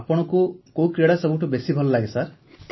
ଆପଣଙ୍କୁ କୋଉ କ୍ରୀଡ଼ା ସବୁଠୁ ବେଶି ଭଲ ଲାଗେ ସାର୍